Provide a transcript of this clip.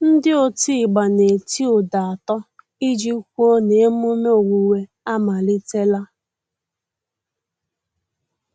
Ndị otigba na-eti ụda atọ iji kwụo na emume owuwe amalitela.